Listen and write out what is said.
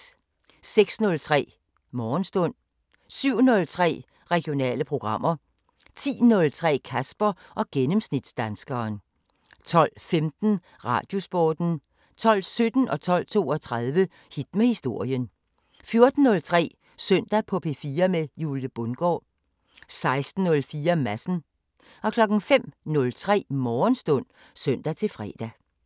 06:03: Morgenstund 07:03: Regionale programmer 10:03: Kasper og gennemsnitsdanskeren 12:15: Radiosporten 12:17: Hit med historien 12:32: Hit med historien 14:03: Søndag på P4 med Julie Bundgaard 16:04: Madsen 05:03: Morgenstund (søn-fre)